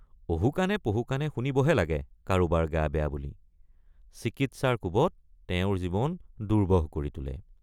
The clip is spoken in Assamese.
অহুকাণে পহুকাণে শুনিবহে লাগে কাৰোবাৰ গা বেয়৷ বুলি চিকিৎসাৰ কোবত তেওঁৰ জীৱন দুৰ্বহ কৰি তোলে।